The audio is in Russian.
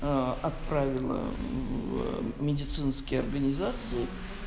а отправила медицинские организации